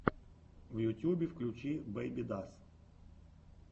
в ютюбе включи бэйбидас